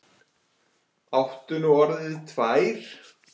Áttu nú orðið tvær?